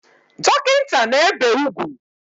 Dokinta na-ebe ugwu